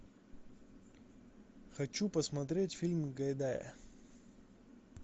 хочу посмотреть фильм гайдая